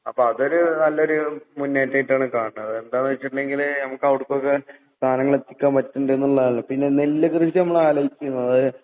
അപ്പോ അതൊരു നല്ലൊരു മുന്നേറ്റായിട്ടാണ് കാണണത്. എന്താന്ന്വെച്ചിട്ടുണ്ടെങ്കില് നമുക്ക് അവർക്കൊക്കെ സാധനങ്ങളെത്തിക്കാൻ പറ്റണ്ടെന്നുള്ളതാണല്ലോ. പിന്നെ നെല്ല് കൃഷി നമ്മൾ ആലോചിക്കുന്നത്